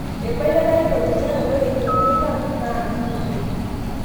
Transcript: Eibalie ina ripoti njere ore yieunot ang na nemongoi''.